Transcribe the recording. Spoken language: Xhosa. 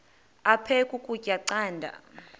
aphek ukutya canda